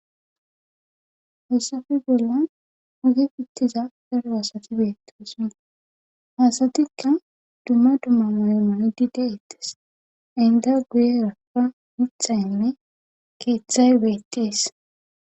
hessafe bolla ugi ittiza per aasati beettesa hasatikka dumma dumma mayomanidi deettes inda guye rafa mitxayinne keeththay beettees